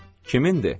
Kimindir?